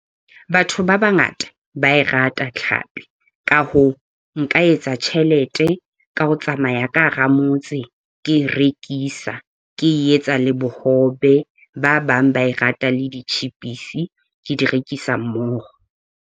Batho ba bangata ba e rata tlhapi, ka hoo, nka etsa tjhelete ka ho tsamaya ka hara motse ke e rekisa, ke etsa le bohobe, ba bang ba e rata le ditjhepisi ke di rekisa mmoho.